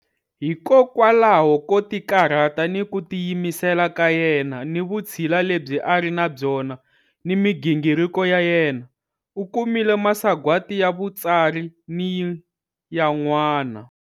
Hikowalaho ko tikarhata ni ku tiyimisela ka yena ni vutshila lebyi a ri na byona ni migingiriko ya yena u kumile masagwati ya vutsari ni yan'wana.